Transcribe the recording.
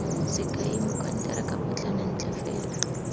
sekai mokonteraka potlana ntle fela